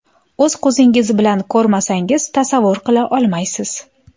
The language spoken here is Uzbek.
O‘z ko‘zingiz bilan ko‘rmasangiz tasavvur qila olmaysiz.